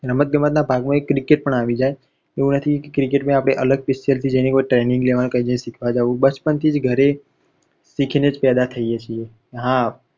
હા રમત ગમતના ભાગમા એક cricket પણ આવી જાય એવું નથી કે cricket માં આપણે અલગ પિચ પર જેની પર training લેવાની, શીખવા જવું બચપણ થી જ ઘરે શીખી નેજ પેદા થઇએ છીએ.